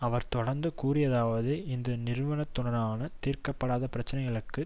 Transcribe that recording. அவர் தொடர்ந்து கூறியதாவது இந்த நிறுவன துடனான தீர்க்க படாத பிரச்சனைகளுக்கு